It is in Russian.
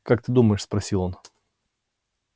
как ты думаешь спросил он